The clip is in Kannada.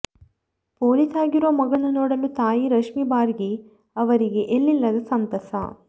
ಪೊಲೀಸ್ ಆಗಿರುವ ಮಗಳನ್ನು ನೋಡಲು ತಾಯಿ ರಶ್ಮಿ ಭಾರ್ಗಿ ಅವರಿಗೆ ಎಲ್ಲಿಲ್ಲದ ಸಂತಸ